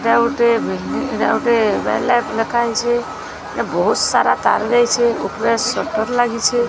ଏଇଟା ଗୋଟେ ଏଇଟା ଗୋଟେ ଲେଖାହେଇଛି ବହୁତ୍ ସାରା ତାର୍ ଯାଇଛି ଉପରେ ସଟର ଲାଗିଛି।